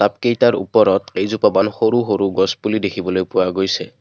কেইটাৰ উপৰত কেইজোপামান সৰু সৰু গছপুলি দেখিবলৈ পোৱা গৈছে।